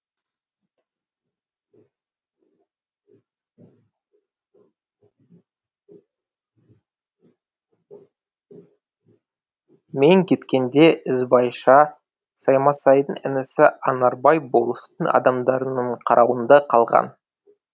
мен кеткенде ізбайша саймасайдың інісі анарбай болыстың адамдарының қарауында қалған